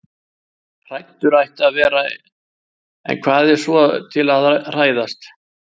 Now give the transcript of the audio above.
Hræddur ætti það að vera- en hvað er svo til að hræðast?